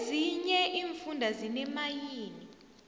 ezinye iimfunda zineemayini